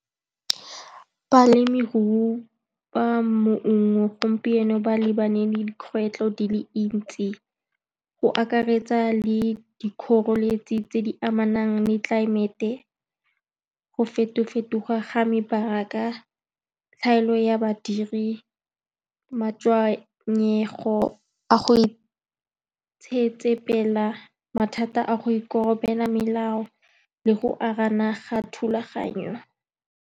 Balemirui ba gompieno ba lebane le dikgwetlho di le dintsi, go akaretsa le dikgoreletsi tse di amanang le tlelaemete, go feto-fetoga ga mebaraka, tlhaelo ya badiri, matshenyego a go itsitsepela, mathata a go ikorobela melao le go arogana thulaganyo.